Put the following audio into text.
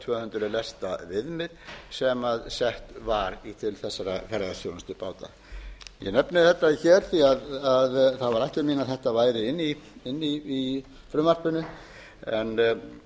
tvö hundruð lesta viðmið sem sett var til þessara ferðaþjónustubáta ég nefni þetta hér því það var ætlun mín að þetta væri inni í frumvarpinu en